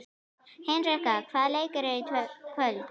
Hinrikka, hvaða leikir eru í kvöld?